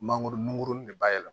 Mangoro nunkurun de bayɛlɛma